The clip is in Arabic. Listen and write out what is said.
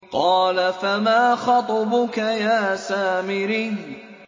قَالَ فَمَا خَطْبُكَ يَا سَامِرِيُّ